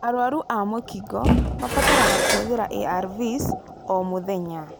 Arwaru a mũkingo mabataraga kũhuthĩra ARVs o mũthenya.